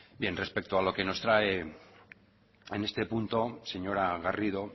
bien respecto a lo que nos trae en este punto señora garrido